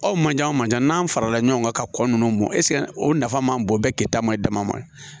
Aw manje manje n'an farala ɲɔgɔn kan ka kɔ nunnu mɔ eseke o nafa man bon bɛɛ kɛ ta ma dama ma